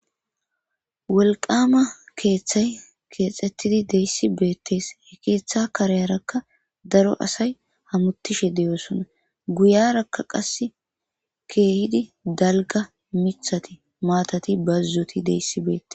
Wolqama keeththay keexxettidi de'iya issi beettees. He keeththa kareyarakka daro asay hametishe deyoosonna. guyarakka qassu keehidi dalgga mithati ,maatati, bazzoti de'iya issi beettees.